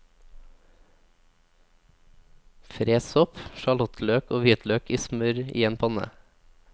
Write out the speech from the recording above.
Fres sopp, sjalottløk og hvitløk i smør i en panne.